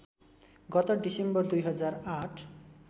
गत डिसेम्बर २००८